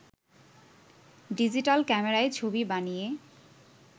digital ক্যামেরায় ছবি বানিয়ে